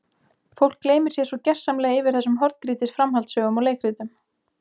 Fólk gleymir sér svo gersamlega yfir þessum horngrýtis framhaldssögum og leikritum.